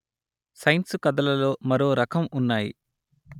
science కథలలో మరో రకం ఉన్నాయి